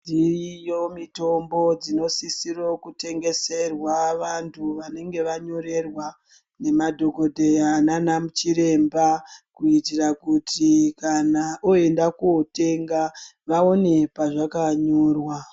Dziriyo mitombo dzinosise kutengeserwa vanthu vannenge vanyorerwa ngemadhokoteya nana chiremba kuitira kuti kana voenda kunotenga vaone pavlzvakanyorwa.